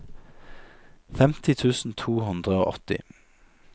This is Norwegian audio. femti tusen to hundre og åtti